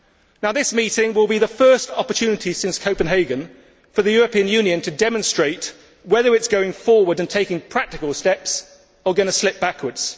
Now this meeting will be the first opportunity since Copenhagen for the European Union to demonstrate whether it is going forward and taking practical steps or going to slip backwards.